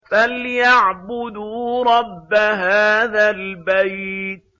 فَلْيَعْبُدُوا رَبَّ هَٰذَا الْبَيْتِ